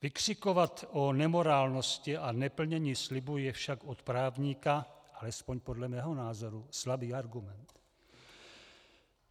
Vykřikovat o nemorálnosti a neplnění slibů je však od právníka, alespoň podle mého názoru, slabý argument.